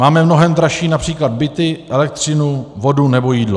Máme mnohem dražší například byty, elektřinu, vodu nebo jídlo.